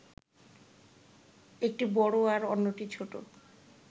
একটি বড় আর অন্যটি ছোট